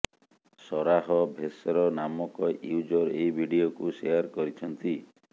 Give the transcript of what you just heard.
Sarah ଭେସର ନାମକ user ଏହି ଭିଡିଓକୁ ସେୟାର କରିଛନ୍ତି